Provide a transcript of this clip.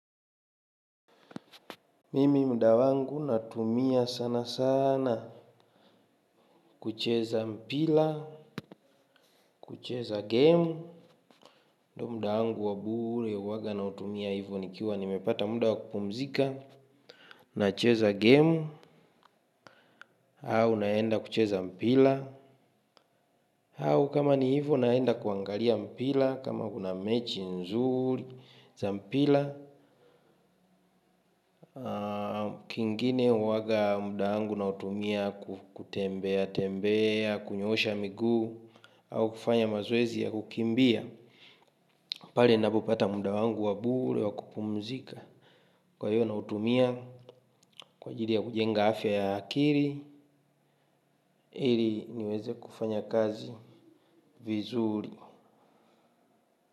Mimi muda wangu natumia sana sana kucheza mpira, kucheza game. Muda wangu wa bure huwaga nautumia hivyo nikiwa nimepata muda wa kupumzika. Na cheza game, au naenda kucheza mpira. Au kama ni hivo naenda kuangalia mpira kama kuna mechi nzuri za mpira. Kingine huwaga muda wangu nautumia kutembea, tembea, kunyoosha miguu au kufanya mazoezi ya kukimbia pale napopata muda wangu wa bure wa kupumzika kwa hiyo nautumia kwa ajili ya kujenga afya ya akili ili niweze kufanya kazi vizuri.